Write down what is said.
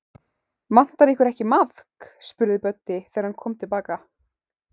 Vantar ykkur ekki maðk? spurði Böddi, þegar hann kom til baka.